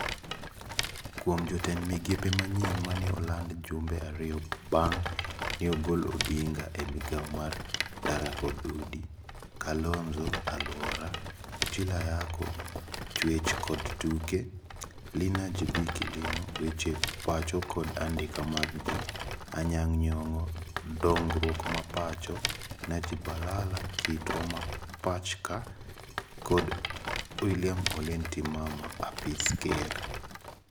Kuom jotend migepe manyien mane olando jumbe ario bang'e neogolo Odinga e migao mar (ndara kod udi), Kalonzo(aluora), Ochilo Ayako (chwech kod tuke), Lina Jebi Kilimo (weche pacho kod andike mag ji), Anyang' Nyong'o (dongruok ma pacho), Najib Balala (kitwa ma pach ka) kod Wiliam Ole Ntimama( apis ker).